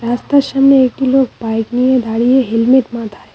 রাস্তার সামনে একটি লোক বাইক নিয়ে দাঁড়িয়ে হেলমেট মাথায়।